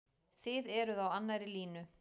Þið eruð á annarri línu?